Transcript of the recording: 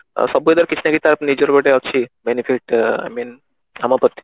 ସବୁ weather କିଛି ନା କିଛି ତା ନିଜର ଗୋଟେ ଅଛି benefit I mean